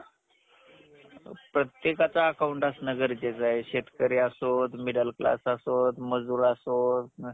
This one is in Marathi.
आणि भात आणि थोडीसी डाळ आणि भाजी भाजी वेज भाजी ठेवायची आणि sunday आं sunday sunday च्या दिवशी अं आणि शुक्रवारच्या दिवशी काही पण चांगलं बनवून द्यायचं त्यांना